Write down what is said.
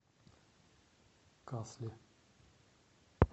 касли